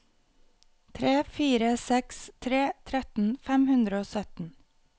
tre fire seks tre tretten fem hundre og sytten